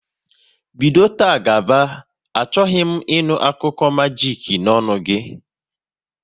Bido taa gaba, achọghị m ị nụ akụkọ majik n'ọnụ gị!